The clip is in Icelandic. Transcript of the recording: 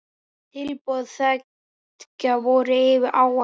Tilboð beggja voru yfir áætlun.